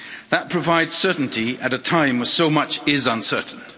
That provides certainty at a time when so much is uncertain.